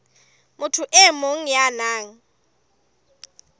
motho e mong ya nang